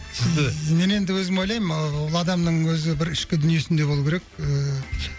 сізді мен өзім ойлаймын ы ол адамның өзі бір ішкі дүниесінде болу керек ііі